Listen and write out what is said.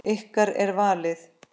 Ykkar er valið.